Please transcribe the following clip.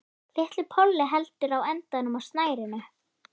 Lítill polli heldur í endann á snærinu.